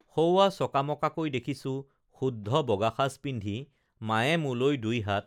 সৌৱা চকামকাকৈ দেখিছো শুদ্ধ বগা সাজ পিন্ধি মায়ে মোলৈ দুই হাত